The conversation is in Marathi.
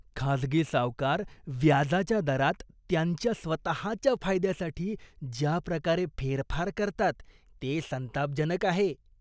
खाजगी सावकार व्याजाच्या दरात त्यांच्या स्वतःच्या फायद्यासाठी ज्या प्रकारे फेरफार करतात ते संतापजनक आहे.